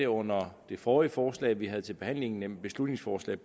under det forrige forslag vi havde til behandling nemlig beslutningsforslag